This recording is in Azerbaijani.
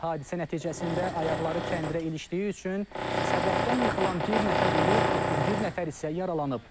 Hadisə nəticəsində ayaqları kəndirə ilişdiyi üçün səbətdən yıxılan bir nəfər ölüb, 31 nəfər isə yaralanıb.